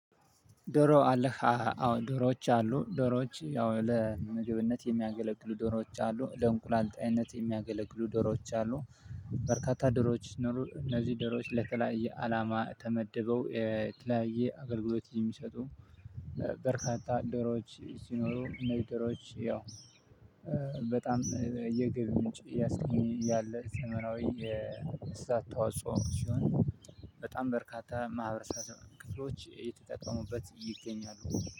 ዶሮ አለህ አዎ ዶሮወች አሉ። ልምግብነት የሚያገለግሉ ዶሮወች አሉ ለእንቁላል ጣይነት የሚያገለግሉ ዶሮዎች አሉ። በርካታ ደሮወች ሲኖሩ እነዚህ ደሮወች ለተለያየ አላማ ተመድበው የተለያዬ አገልግሎት የሚሰጡ። በርካታ ዶሮዎች ሲኖሩ እንዚህ ዶሮወች ያው በጣም የገቢ ምንጭ እያቃኘኝ እያለ ዘመናዊ ተዋጽኦ ሲሆን። በጣም በርካታ ማህበረሰብ ክፍሎች እየተጠቀሙበት ይገኛሉ።